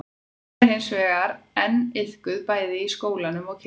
hún er hins vegar enn iðkuð bæði í skólanum og kirkjunni